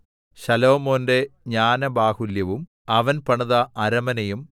ശലോമോന്റെ ജ്ഞാനബാഹുല്യവും അവൻ പണിത അരമനയും